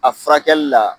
A furakɛli la